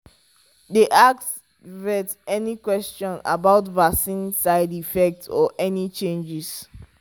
dey ask vet any question about vaccine side effect or any changes.